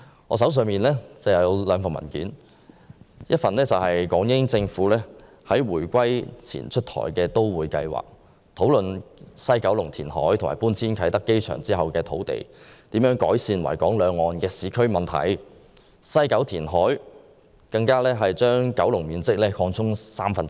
我手上有兩份文件，一份是關於港英政府在回歸前出台的都會計劃，討論西九龍填海和搬遷啟德機場後所獲得的土地可如何改善維港兩岸的市區問題，並表示西九龍填海會將九龍面積擴充三分之一。